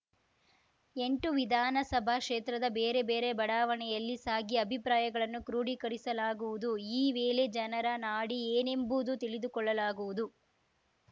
ಎಂಟು ವಿಧಾನಸಭಾ ಕ್ಷೇತ್ರದ ಬೇರೆ ಬೇರೆ ಬಡಾವಣೆಯಲ್ಲಿ ಸಾಗಿ ಅಭಿಪ್ರಾಯಗಳನ್ನು ಕ್ರೋಢೀಕರಿಸಲಾಗುವುದು ಈ ವೇಳೆ ಜನರ ನಾಡಿ ಏನೆಂಬುದು ತಿಳಿದುಕೊಳ್ಳಲಾಗುವುದು